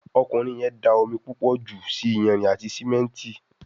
Ọkùnrin yén dá omí púpọ jù ṣì iyanrìn àti simẹnti.